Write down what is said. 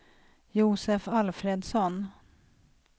Josef Alfredsson